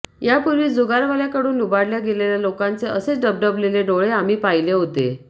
यापूर्वी जुगारवाल्याकडून लुबाडल्या गेलेल्या लोकांचे असेच डबडबलेले डोळे आम्ही पाहिले होते